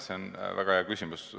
See on väga hea küsimus.